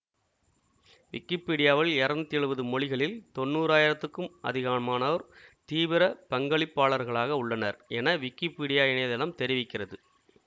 விக்கிப்பீடியாவில் இருநூத்தி எழுவது மொழிகளில் தொன்னூறாயிரத்திற்கும் அதிகமானோர் தீவிர பங்களிப்பாளரக்ளாக உள்ளனர் என விக்கிப்பீடியா இணைய தளம் தெரிவிக்கிறது